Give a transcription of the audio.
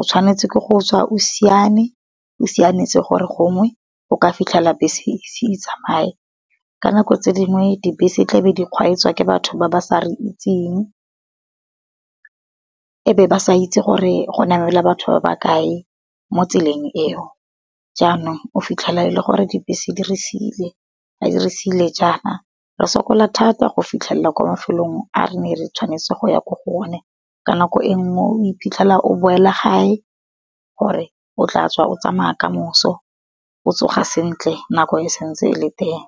o tshwanetse ke go tswa o simane, o siametse gore gongwe o ka fitlhela bese e se e tsamaye. Ka nako tse di ngwe di bese tla be di kgweetswa ke batho ba ba sa re itseng, e be ba sa itse gore go namela batho ba ba kae mo tseleng eo. Jaanong o fitlhela e le gore di bese di re sile, di re sile jaana re sokola thata go fitlhelela kwa mafelong a re ne re tshwanetse go ya ko go one. Ka nako e nngwe o iphitlhela o boela gae gore o tla tswa o tsamaya kamoso, o tsoga sentle nako e santse e le teng.